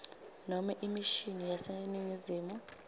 nobe imishini yaseningizimu